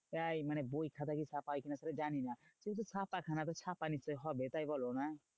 তাই মানে বই খাতা কি ছাপা হয় কি না জানিনা? কিন্তু ছাপা খানা তো ছাপা নিশ্চই হবে তাই বলোনা?